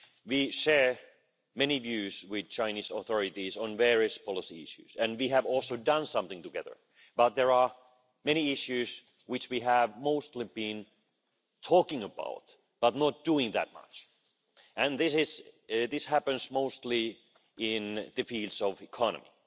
We share many views with the Chinese authorities on various policy issues and we have also done some things together, but there are many issues which we have mostly been talking about, but not doing that much and this happens mostly in the field of economy.